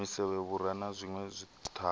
misevhe vhura na zwinwe zwithavhani